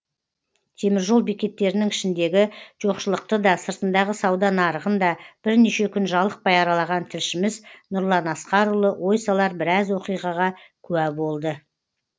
теміржол бекеттерінің ішіндегі жоқшылықты да сыртындағы сауда нарығын да бірнеше күн жалықпай аралаған тілшіміз нұрлан асқарұлы ой салар біраз оқиғаға куә болды